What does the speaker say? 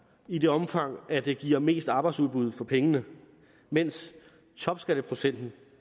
i det omfang at det giver mest arbejdsudbud for pengene mens topskatteprocenten